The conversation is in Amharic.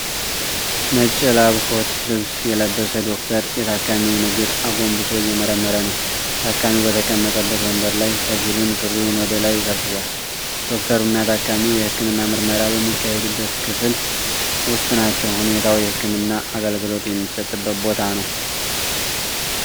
ነጭ የላብኮት ልብስ የለበሰ ዶክተር የታካሚውን እግር አጎንብሶ እየመረመረ ነው። ታካሚው በተቀመጠበት ወንበር ላይ ከፊሉን ሱሪውን ወደ ላይ ሰብስቧል። ዶክተሩ እና ታካሚው የህክምና ምርመራ በሚካሄድበት ክፍል ውስጥ ናቸው። ሁኔታው የህክምና አገልግሎት የሚሰጥበት ቦታ ነው።